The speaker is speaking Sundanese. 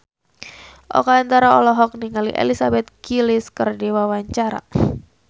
Oka Antara olohok ningali Elizabeth Gillies keur diwawancara